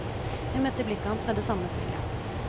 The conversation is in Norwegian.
Hun møtte blikket hans med det samme smilet.